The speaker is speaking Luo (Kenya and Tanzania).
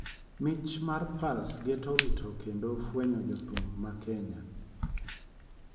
mich mag Pulse geto rito kendo fwenyo jo thum ma Kenya,